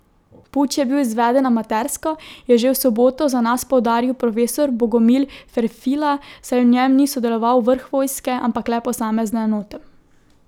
Puč je bil izveden amatersko, je že v soboto za nas poudaril profesor Bogomil Ferfila, saj v njem ni sodeloval vrh vojske, ampak le posamezne enote.